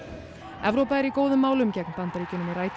Evrópa er í góðum málum gegn Bandaríkjunum í